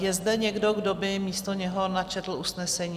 Je zde někdo, kdo by místo něho načetl usnesení?